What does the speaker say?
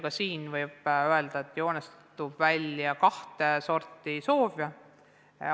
Ka siin võib öelda, et joonistub välja kahte sorti soove.